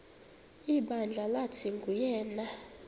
ibandla lathi nguyena